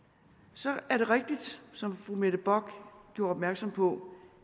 så er det rigtigt som fru mette bock gjorde opmærksom på